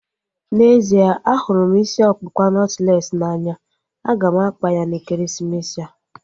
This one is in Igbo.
N'ezie, ahụrụ m isi ọkpụkpa nọtlees n'anya. A ga m akpa ya n'ekeresimesi a